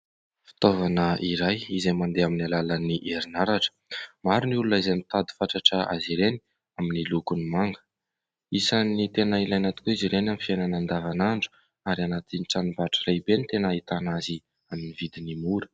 Fitaovana iray izay mandeha amin'ny alalan'ny herinaratra. Maro ny olona izay mitady fatratra azy ireny amin'ny lokony manga ; isany tena ilaina tokoa izy ireny amin'ny fiainana andavanandro. Ary anatin'ny tranombarotra rehibe ny tena ahitana azy amin'ny vidiny mora.